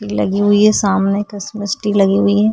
लगी हुई है. सामने क्रिसमस ट्री लगी हुई है।